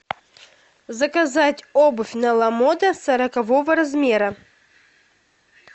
заказать обувь на ламода сорокового размера